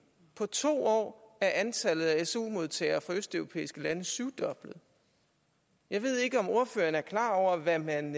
på to år er antallet af su modtagere fra østeuropæiske lande syvdoblet jeg ved ikke om ordføreren er klar over hvad man